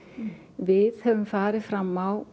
við höfum farið fram á